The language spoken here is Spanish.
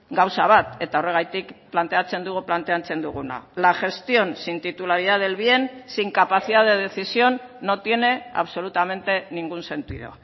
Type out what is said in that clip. gauza bat eta horregatik planteatzen dugu planteatzen duguna la gestión sin titularidad del bien sin capacidad de decisión no tiene absolutamente ningún sentido